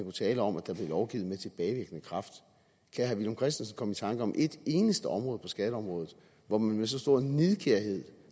tale om at der blev lovgivet med tilbagevirkende kraft kan herre villum christensen komme i tanke om et eneste område på skatteområdet hvor man med så stor nidkærhed